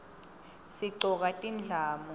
sigcoka tindlamu